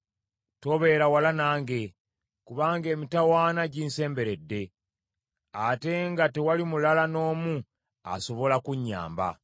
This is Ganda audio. Tobeera wala nange, kubanga emitawaana ginsemberedde, ate nga tewali mulala n’omu asobola kunnyamba.